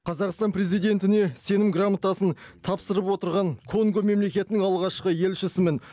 қазақстан президентіне сенім грамотасын тапсырып отырған конго мемлекетінің алғашқы елшісімін